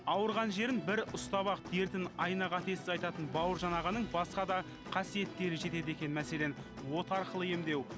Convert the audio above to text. ауырған жерін бір ұстап ақ дертін айна қатесіз айтатын бауыржан ағаның басқа да қасиеттері жетеді екен мәселен от арқылы емдеу